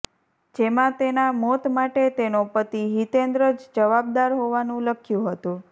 જેમાં તેના મોત માટે તેનો પતિ હિતેન્દ્ર જ જવાબદાર હોવાનુ લખ્યું હતું